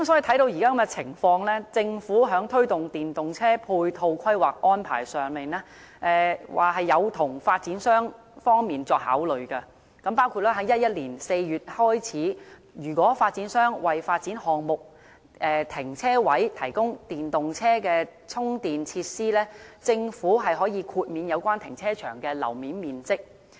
看到現時的情況，政府在推動電動車的配套規劃和安排上，是有從發展商方面作考慮的，包括從2011年4月開始，如果發展商為發展項目的停車位提供電動車充電設施，政府可以豁免有關停車場的樓面面積。